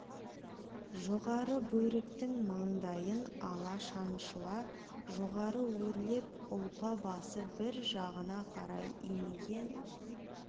жоғары бөріктің маңдайын ала шаншыла жоғары өрлеп ұлпа басы бір жағына қарай имиген